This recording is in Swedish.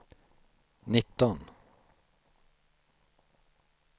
nitton